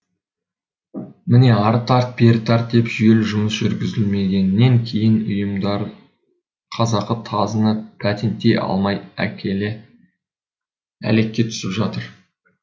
міне ары тарт бері тарт деп жүйелі жұмыс жүргізілмегеннен кейін ұйымдар қазақы тазыны патенттей алмай әлекке түсіп жүр